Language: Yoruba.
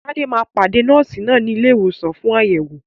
Tade máa pàdé Nọ́ọ̀sì náà ní ilé ìwòsàn fún àyẹ̀wò.